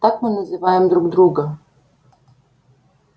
так мы называем друг друга